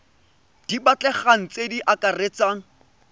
di batlegang tse di akaretsang